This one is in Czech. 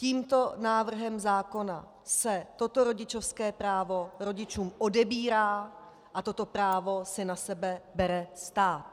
Tímto návrhem zákona se toto rodičovské právo rodičům odebírá a toto právo si na sebe bere stát.